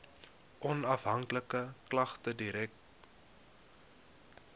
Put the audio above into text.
onafhanklike klagtedirektoraat